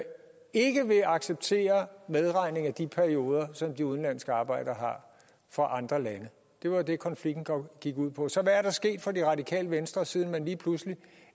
ikke vil acceptere medregning af de perioder som de udenlandske arbejdere har fra andre lande det var jo det konflikten gik ud på så hvad er der sket for det radikale venstre siden man lige pludselig